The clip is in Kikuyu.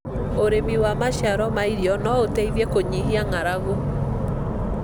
ũrĩmi wa maciaro ma irio no ũteithie kũnyihia ng'aragu.